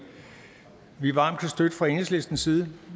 kan støtte fra enhedslistens side